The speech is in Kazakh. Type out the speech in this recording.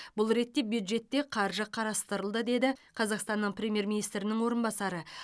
бұл ретте бюджетте қаржы қарастырылды деді қазақстанның премьер министрінің орынбасары